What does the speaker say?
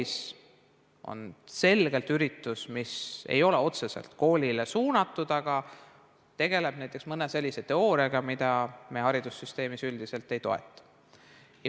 See võib olla selgelt üritus, mis ei ole otseselt koolile suunatud, aga tegeleb näiteks mõne sellise teooriaga, mida me haridussüsteemis üldiselt ei toeta.